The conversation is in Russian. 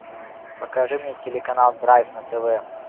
покажи мне телеканал драйв на тв